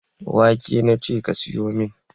wake nace ka siyumin.